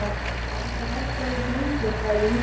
Það er ekki hægt að eiga hljómsveit, sagði ég huggandi.